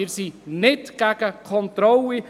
Wir sind nicht gegen Kontrollen.